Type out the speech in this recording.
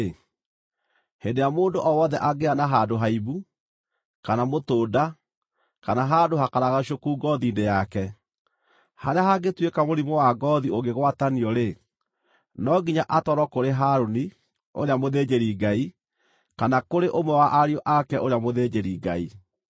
“Hĩndĩ ĩrĩa mũndũ o wothe angĩgĩa na handũ haimbu, kana mũtũnda, kana handũ hakaragacũku ngoothi-inĩ yake, harĩa hangĩtuĩka mũrimũ wa ngoothi ũngĩgwatanio-rĩ, no nginya atwarwo kũrĩ Harũni, ũrĩa mũthĩnjĩri-Ngai, kana kũrĩ ũmwe wa ariũ ake ũrĩa mũthĩnjĩri-Ngai.